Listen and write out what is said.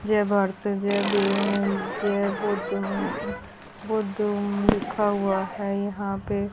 जय भारत जय भीम जय बौद्ध बौद्ध ओम लिखा हुआ है यहां पे।